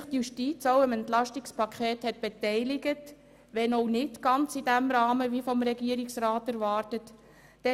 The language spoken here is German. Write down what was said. Die Justiz hat sich auch am EP 2018 beteiligt, wenn auch nicht ganz in dem vom Regierungsrat erwarteten Rahmen.